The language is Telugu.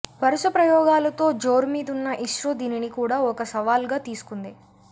వరుస ప్రయోగాలతో జోరుమీదున్న ఇస్రో దీనిని కూడా ఒక సవాల్గా తీసుకుంది